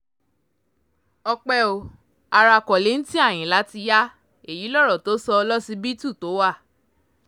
ọ̀pẹ ò ará kollington ayínlá ti ya èyí lọ̀rọ̀ tó sọ lọsibítù tó wà